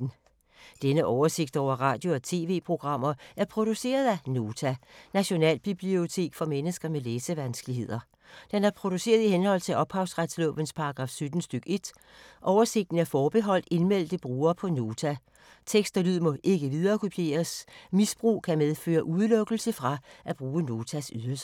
Denne oversigt over radio og TV-programmer er produceret af Nota, Nationalbibliotek for mennesker med læsevanskeligheder. Den er produceret i henhold til ophavsretslovens paragraf 17 stk. 1. Oversigten er forbeholdt indmeldte brugere på Nota. Tekst og lyd må ikke viderekopieres. Misbrug kan medføre udelukkelse fra at bruge Notas ydelser.